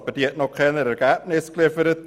Diese hat aber noch keine Ergebnisse geliefert.